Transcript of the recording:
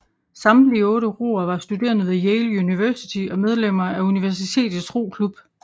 Samtlige otte roere var studerende ved Yale University og medlemmer af universitetets roklub